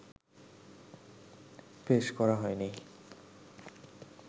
পেশ করা হয়নি